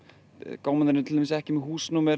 gámarnir eru til dæmis ekki með húsnúmer